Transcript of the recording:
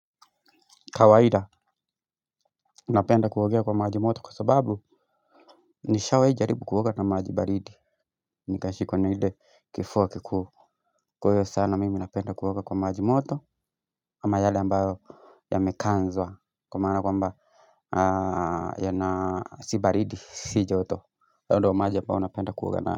Kawaida napenda kuogea kwa maji moto kwa sababu nishawahi jaribu kuoga na maji baridi. Nikashikwo na ile kifua kikuu kwa hivyo sana mimi napenda kogea kwa maji moto ama yale ambayo yamekanzwa kwa maana kwa mba ya na si balidi si joto ndo maji ambayo napenda kuoga nayo.